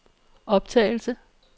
optagelse